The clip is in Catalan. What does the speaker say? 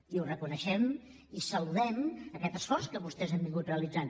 i ho reconeixem i saludem aquest esforç que vostès han realitzat